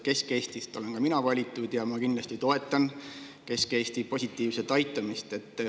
Kesk-Eestist olen ka mina valitud ja ma kindlasti toetan Kesk-Eesti positiivset aitamist.